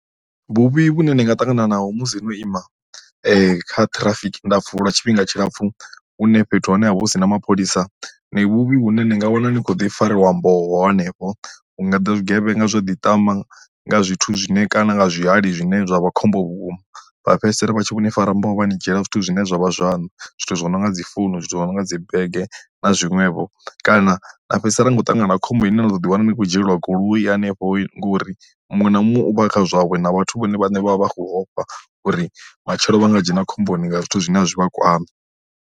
Vhuvhi vhune ni nga ṱangana naho musi no ima kha ṱhirafiki ndapfu lwa tshifhinga tshilapfu hune fhethu ha hone havha hu si na mapholisa, ndi vhuvhi vhune ni nga wana ni kho ḓi fariwa mboho hanefho. Hu nga ḓa zwigevhenga zwo ḓiṱama nga zwithu zwine kana nga zwihali zwine zwa vha khombo vhukuma vha fhedzisela vha tshi vhoni fara mboho vha ni dzhiela zwithu zwine zwavha zwaṋu zwithu zwi no nga dzi founu zwithu zwo no nga dzi bege na zwiṅwevho kana na fhedzisela nikho ṱangana na khombo ine na to ḓi wana ni khou dzhielwa goloi hanefho ngori muṅwe na muṅwe u vha kha zwawe na vhathu vhone vhane vha vha vha khou ofha uri matshelo vha nga dzhena khomboni nga zwithu zwine a zwi vha kwami.